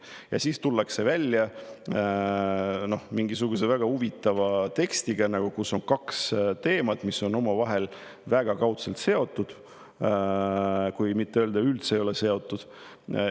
Ja siis tullakse välja mingisuguse väga huvitava tekstiga, kus on kaks teemat, mis on omavahel väga kaudselt seotud, kui mitte öelda, et üldse ei ole seotud.